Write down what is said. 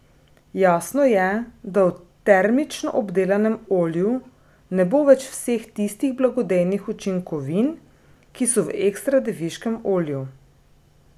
Jasno je, da v termično obdelanem olju ne bo več vseh tistih blagodejnih učinkovin, ki so v ekstra deviškem olju.